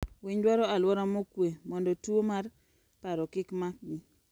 Winy dwaro aluora mokwe mondo tuo mar paro kik makgi.